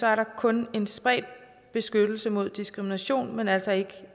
er der kun en spredt beskyttelse mod diskrimination men altså ikke